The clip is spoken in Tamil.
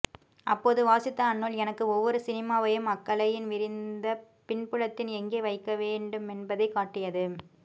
அப்போது வாசித்த அந்நூல் எனக்கு ஒவ்வொரு சினிமாவையும் அக்கலையின் விரிந்த பின்புலத்தில் எங்கே வைக்கவேண்டுமென்பதைக் காட்டியது